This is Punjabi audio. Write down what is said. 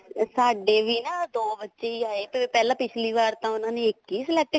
ਸਾਡੇ ਵੀ ਨਾ ਦੋ ਬੱਚੇ ਹੀ ਆਏ ਪਹਿਲਾਂ ਪਿਛਲੀ ਵਾਰ ਤਾਂ ਉਹਨੇ ਇੱਕ ਹੀ select